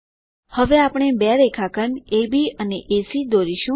હવે આપણે બે રેખાખંડ અબ અને એસી દોરીશું